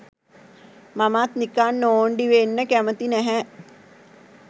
මමත් නිකං නෝන්ඩි වෙන්න කැමති නැහැ''